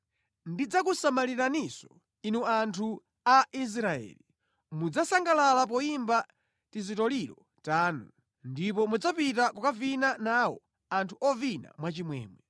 Ndidzakusamaliraninso, inu anthu a Israeli; mudzasangalala poyimba tizitoliro tanu, ndipo mudzapita kukavina nawo anthu ovina mwachimwemwe.